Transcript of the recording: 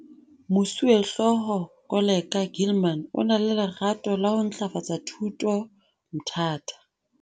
Moswehlooho Koleka Gilman o na le lerato la ho ntlafatsa thuto Mthatha.